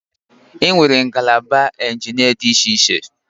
Enwere ngalaba injinia dị iche iche